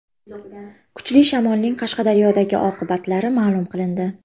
Kuchli shamolning Qashqadaryodagi oqibatlari ma’lum qilindi.